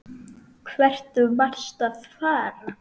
Hvert varstu að fara?